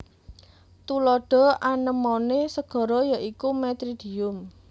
Tuladha anemone segara ya iku Metridium